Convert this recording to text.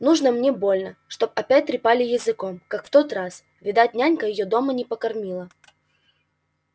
нужно мне больно чтоб опять трепали языком как в тот раз видать нянька её дома не покормила